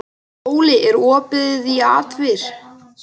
Óli, er opið í ÁTVR?